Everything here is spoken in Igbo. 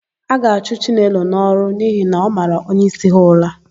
A ga-achụ Chinelo n'ọrụ n'ihi na ọ mara onyeisi ha ụra.